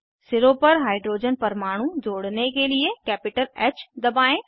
सिरों पर हाइड्रोजन परमाणु जोड़ने के लिए कैपिटल ह दबाएं